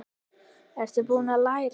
Ertu búinn að læra?